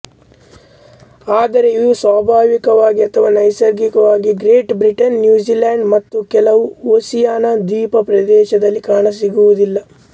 ಆದರೆ ಇವು ಸ್ವಾಭಾವಿಕವಾಗಿ ಅಥವಾ ನೈಸರ್ಗಿಕವಾಗಿ ಗ್ರೇಟ್ ಬ್ರಿಟೇನ್ ನ್ಯುಜಿಲೆಂಡ್ ಮತ್ತು ಕೆಲವು ಒಸಿಯಾನಾ ದ್ವೀಪ ಪ್ರದೇಶಗಳಲ್ಲಿ ಕಾಣಸಿಗುವುದಿಲ್ಲ